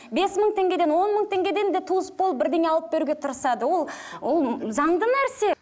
бес мың теңгеден он мың теңгеден де туыс болып бірдеңе алып беруге тырысады ол ол заңды нәрсе